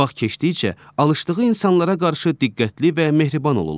Vaxt keçdikcə alışdığı insanlara qarşı diqqətli və mehriban olurlar.